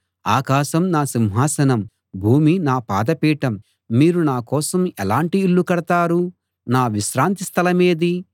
ఆకాశం నా సింహాసనం భూమి నా పాదపీఠం మీరు నాకోసం ఎలాంటి ఇల్లు కడతారు నా విశ్రాంతి స్థలమేది